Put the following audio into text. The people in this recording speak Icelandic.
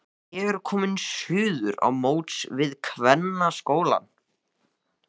Ég er kominn suður á móts við kvennaskólann.